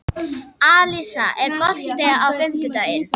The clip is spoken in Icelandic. Alisa, er bolti á fimmtudaginn?